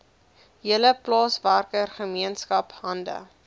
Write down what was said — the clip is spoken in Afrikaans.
hele plaaswerkergemeenskap hande